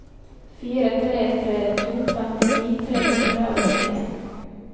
fire tre tre to femtini tre hundre og nittien